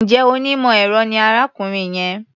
Is that man an engineer?